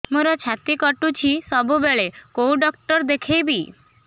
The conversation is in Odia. ମୋର ଛାତି କଟୁଛି ସବୁବେଳେ କୋଉ ଡକ୍ଟର ଦେଖେବି